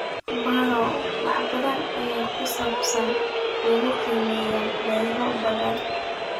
Baro wax badan oo ku saabsan leukemia myeloid ba'an.